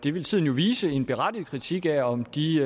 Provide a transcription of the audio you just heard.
det vil tiden jo vise en berettiget kritik af om de